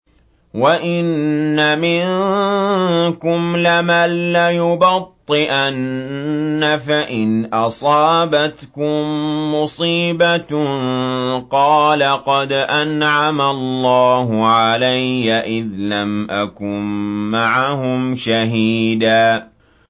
وَإِنَّ مِنكُمْ لَمَن لَّيُبَطِّئَنَّ فَإِنْ أَصَابَتْكُم مُّصِيبَةٌ قَالَ قَدْ أَنْعَمَ اللَّهُ عَلَيَّ إِذْ لَمْ أَكُن مَّعَهُمْ شَهِيدًا